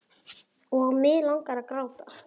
Og mig langar að gráta.